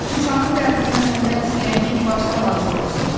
Şuşanın dərdindən ölmək istəyən kim varsa hazır olsun.